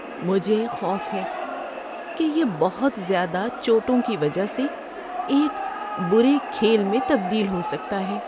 مجھے خوف ہے کہ یہ بہت زیادہ چوٹوں کی وجہ سے ایک برے کھیل میں تبدیل ہو سکتا ہے۔